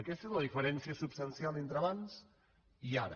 aquesta és la diferència substancial entre abans i ara